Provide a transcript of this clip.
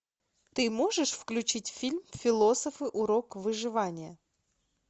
ты можешь включить фильм философы урок выживания